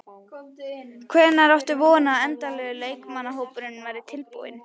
Hvenær áttu von á að endanlegur leikmannahópur verði tilbúinn?